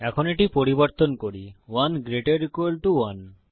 এখন এটি পরিবর্তন করি 1 gt 1